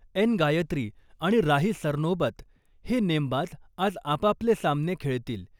N Gayatri आणि राही सरनोबत हे नेमबाज आज आपापले सामने खेळतील.